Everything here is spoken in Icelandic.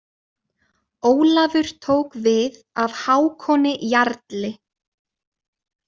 Ólafur tók við af Hákoni jarli.